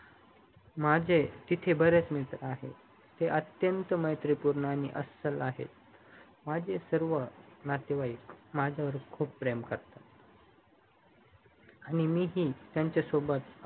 माझे तिथे बरेच मित्र आहेत ते अत्यंत मैत्रीपूर्ण आणि माझे सर्व नातेवाईक माझ्या वर खूप प्रेम करतात आणि मी ही त्यांच्यासोबत